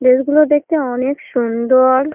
ড্রেসগুলো দেখতে অনেক সুন্দর ।